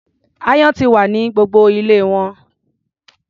Aáyán ti wà ní gbogbo ilé wọn.